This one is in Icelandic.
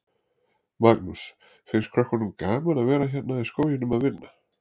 Magnús: Finnst krökkunum gaman að vera hérna í skóginum að vinna?